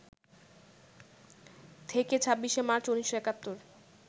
থেকে ২৬শে মার্চ, ১৯৭১